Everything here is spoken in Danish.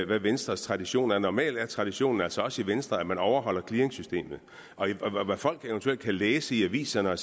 hvad venstres tradition er normalt er traditionen altså også i venstre at man overholder clearingsystemet og hvad folk eventuelt kan læse i aviserne